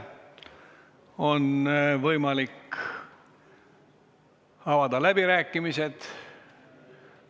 On võimalik avada läbirääkimised.